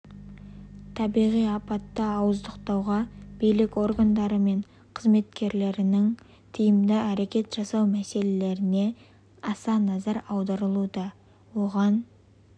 табиғи апатты ауыздықтауға билік органдары мен қызметтерінің тиімді әрекет жасау мәселелеріне аса назар аударылуда оған